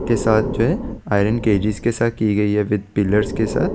के साथ जो है आईरिन के साथ जो है आईरिन केजी के साथ की गयी है बिग डीलर के साथ --